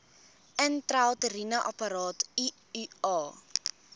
intrauteriene apparaat iua